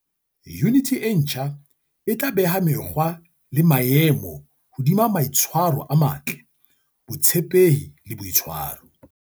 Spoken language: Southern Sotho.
Yuniti e ntjha e tla beha mekgwa le maemo hodima maitshwaro a matle, botshepehi e boitshwaro.